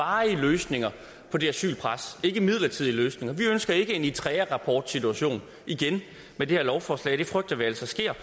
varige løsninger for det asylpres ikke midlertidige løsninger vi ønsker ikke en eritrearapportsituation igen med det her lovforslag det frygter vi altså sker